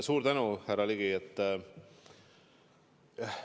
Suur tänu, härra Ligi!